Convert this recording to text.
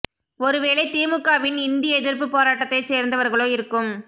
ஒரு வேளை தி மு க வின் இந்தி எதிர்ப்பு போராட்டத்தை சேர்ந்தவர்களோ இருக்கும்